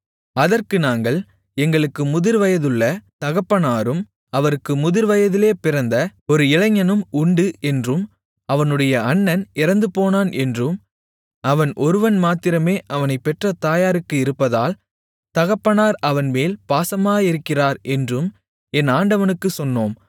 அதற்கு நாங்கள் எங்களுக்கு முதிர்வயதுள்ள தகப்பனாரும் அவருக்கு முதிர்வயதிலே பிறந்த ஒரு இளைஞனும் உண்டு என்றும் அவனுடைய அண்ணன் இறந்துபோனான் என்றும் அவன் ஒருவன்மாத்திரமே அவனைப்பெற்ற தாயாருக்கு இருப்பதால் தகப்பனார் அவன்மேல் பாசமாயிருக்கிறார் என்றும் என் ஆண்டவனுக்குச் சொன்னோம்